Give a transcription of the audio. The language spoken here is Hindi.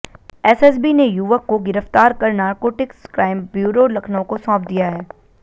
एसएसबी ने युवक को गिरफ्तार कर नारकोटिक्स क्राइम ब्यूरो लखनऊ को सौंप दिया है